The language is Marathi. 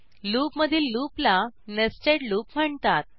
लूपमधील लूपला नेस्टेड लूप म्हणतात